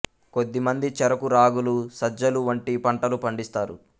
కొద్ది మంది చెరకు రాగులు సజ్జలు వంటి పంటలు పండిస్తారు